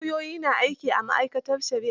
Lauyoyi na aiki a ma'aikatar shari'a.